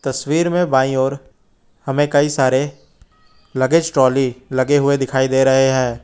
तस्वीर में बाईं ओर हमें कई सारे लगेज ट्रॉली लगे हुए दिखाई दे रहे हैं।